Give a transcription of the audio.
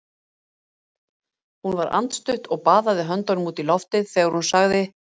Hún var andstutt og baðaði höndunum út í loftið þegar hún sagði